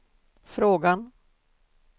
frågan